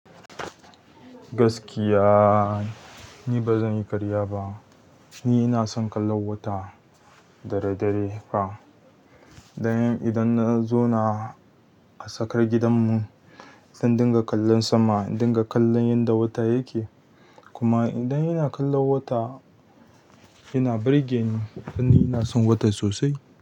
Gaskiya, ni ba zan yi karya ba. Ni ina son kallo wata dare dare fa. Dan idan na zauna a tsakar gidanmu, zan dinga kallon sama, in dinga kallon yadda wata yake. Kuma idan ina kallon wata, ina birgeni. Dan ni ina son wata sosai.